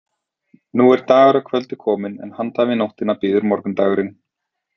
Nú er dagur að kvöldi kominn en handan við nóttina bíður morgundagurinn.